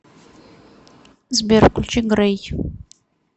сбер включи грей